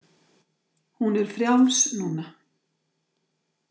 Hún er frjáls núna.